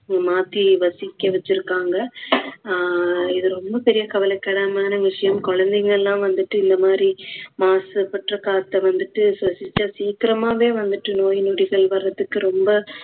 மாத்தி வசிக்க வச்சுருக்காங்க. ஆஹ் இது ரொம்ப பெரிய கவலைக்கிடமான விஷயம் குழந்தைங்க எல்லாம் வந்துட்டு இந்த மாதிரி மாசுபற்ற காத்த வந்துட்டு சுவாசிச்சா சீக்கிரமாவே வந்துட்டு நோய் நொடிகள் வர்றதுக்கு ரொம்ப